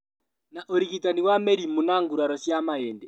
Na ũrigitani wa mĩrimũ na nguraro cia mahĩndĩ